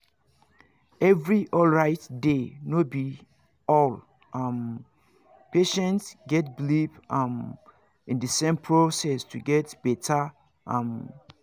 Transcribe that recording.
every alright day no be all um patients get believe um in the same process to get better um